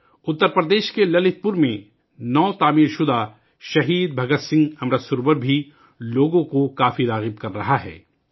اتر پردیش کے للت پور میں نو تعمیر شدہ شہید بھگت سنگھ امرت سروور بھی لوگوں کو اپنی طرف متوجہ کر رہا ہے